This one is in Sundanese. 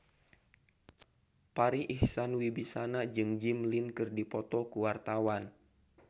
Farri Icksan Wibisana jeung Jimmy Lin keur dipoto ku wartawan